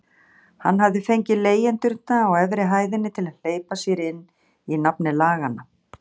Hann hafði fengið leigjendurna á efri hæðinni til að hleypa sér inn í nafni laganna.